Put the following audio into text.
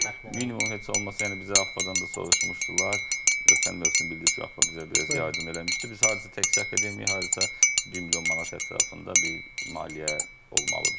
Minimum heç olmasa yəni bizə AFFAdan da soruşmuşdular, ötən mövsüm bilirsiz AFF bizə biraz yardım eləmişdi, biz harca təkcə akademiyaya harasa 1 milyon manat ətrafında bir maliyyə olmalıdır.